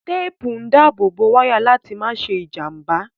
Téèpù ń dábò wáyà láti ìjàmbá